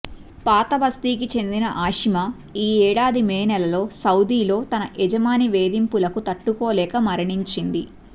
పాతబస్తీకి చెందిన ఆషిమా ఈ ఏడాది మే నెలలో సౌదీలో తన యజమాని వేధింపులకు తట్టుకోలేక మరణించింది